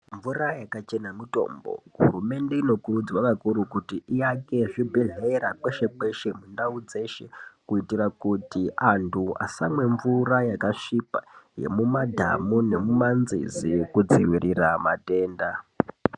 Mvura yakachena mutombo, hurumende inokurudzirwa kakuru kuti iake zvibhedhleya kweshe kweshe mundau dzeshe kuitira kuti antu asamwe mvura yakasvipa yemumadhanu nemumanzizi kudzivirire matenda.